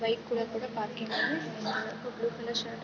bike ಕೂಡ ಕೂಡ ಪಾರ್ಕಿಂಗಲ್ಲಿ ಒಂದು ಬ್ಲೂ ಕಲರ್ ಶರ್ಟ್ --